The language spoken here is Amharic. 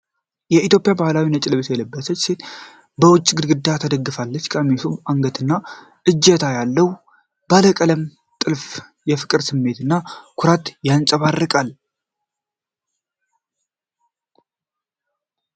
የኢትዮጵያ ባህላዊ ነጭ ልብስ የለበሰች ሴት በውጭ ግድግዳ ተደግፋለች። በቀሚሱ አንገትና እጀታ ላይ ያለው ባለቀለም ጥልፍ የፍቅር ስሜትንና ኩራት ያንጸባርቃል።